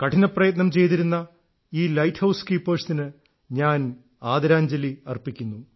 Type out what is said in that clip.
കഠിനപ്രയത്നം ചെയ്തിരുന്ന ഈ lighthouse കീപ്പേഴ്സിന് ഞാൻ ആദരാഞ്ജലി അർപ്പിക്കുന്നു